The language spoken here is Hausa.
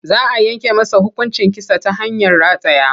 Za a yanke masa hukuncin kisa ta hanyar rataya.